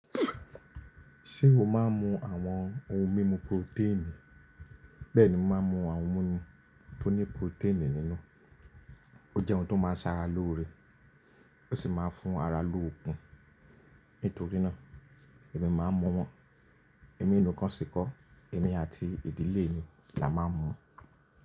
Ṣé o máa ń mu àwọn ohun mímu proteini? Bẹ́ẹ̀ni mò maa ń mu àwọn múmi tó ní proteini nínú. Ó jẹ́ ohun tó máa ń ṣara lóore, ó sì máa ń fún ara lóokun. Nítorí náà èmi máa ń mu wọn. Èmi nìkan sì kọ́, èmi àti ìdílé mi la máa ń mu.